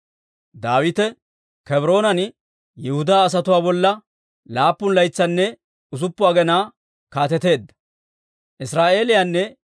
Daawite Kebroonan Yihudaa asatuwaa bolla laappun laytsanne usuppun aginaa kaateteedda.